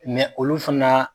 Mɛ olu fana